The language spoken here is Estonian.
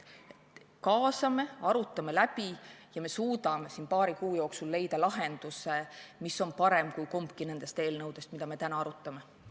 Kaasame, arutame läbi ja me suudame paari kuu jooksul leida lahenduse, mis on parem kui kumbki nendest eelnõudest, mida me täna arutame.